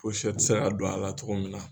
tɛ se ka don a la togo min na.